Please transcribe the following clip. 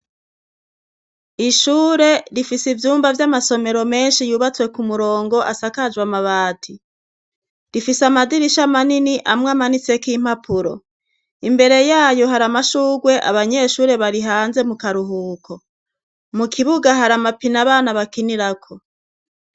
Ishure rifise ivyumba vy'amasomero menshi yubatswe ku murongo asakajwe amabadi rifise amadirisha manini amwe amanitseko impapuro imbere yayo hari amashugwe abanyeshure bari hanze mu karuhuko mu kibuga hari amapina abana bakinirako.